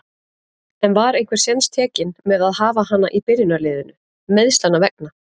En var einhver séns tekinn með að hafa hana í byrjunarliðinu, meiðslanna vegna?